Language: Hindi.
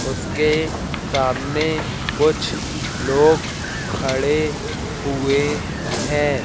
उसके सामने कुछ लोग खड़े हुए हैं।